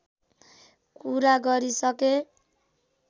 कुरा गरिसके